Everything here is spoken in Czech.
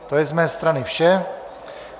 To je z mé strany vše.